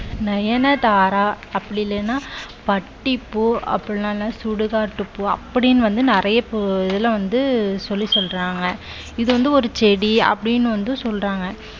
நயன தாரா அப்படி இல்லன்னா பட்டி பூ அப்படில்லைன்னா சுடுகாடு பூ அப்படின்னு வந்து நிறைய இதுல வந்து சொல்லி சொல்றாங்க. இது வந்து ஒரு செடி அப்படின்னு வந்து சொல்றாங்க.